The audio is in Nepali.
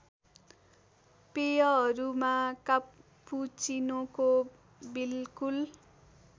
पेयहरूमा कापुचीनोको बिल्कुल